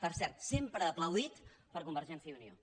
per cert sempre aplaudit per convergència i unió